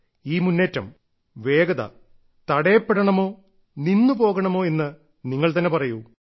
ഈ മുന്നേറ്റം വേഗത തടയപ്പെടണമോ നിന്നു പോകണമോ എന്ന് നിങ്ങൾ തന്നെ പറയൂ